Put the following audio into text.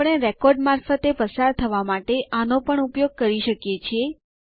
આપણે રેકોર્ડ મારફતે પસાર થવા માટે આનો પણ ઉપયોગ કરી શકીએ છીએ